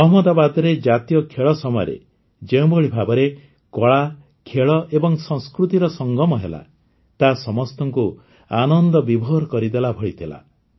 ଅହମ୍ମଦାବାଦରେ ଜାତୀୟ ଖେଳ ସମୟରେ ଯେଉଁଭଳି ଭାବରେ କଳା ଖେଳ ଏବଂ ସଂସ୍କୃତିର ସଙ୍ଗମ ହେଲା ତାହା ସମସ୍ତଙ୍କୁ ଆନନ୍ଦବିଭୋର କରିଦେଲାଭଳି ଥିଲା